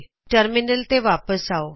terminal ਤੇ ਵਾਪਿਸ ਆਓ